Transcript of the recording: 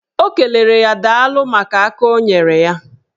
O kelere ya daalụ maka aka o nyere ya.